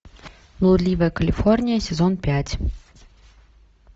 блудливая калифорния сезон пять